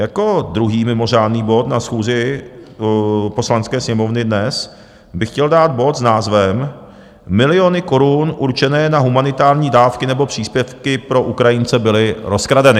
Jako druhý mimořádný bod na schůzi Poslanecké sněmovny dnes bych chtěl dát bod s názvem Miliony korun určené na humanitární dávky nebo příspěvky pro Ukrajince byly rozkradeny.